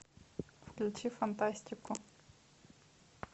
включи фантастику